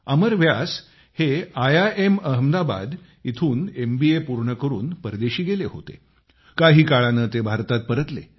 अमर व्यास हे I I M Ahmedabad येथून M B A पूर्ण करून परदेशी निघून गेले होते काही काळाने ते भारतात परतले